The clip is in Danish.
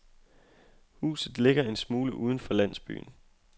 Huset ligger en smule uden for landsbyen.